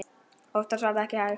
Oftast var það ekki hægt.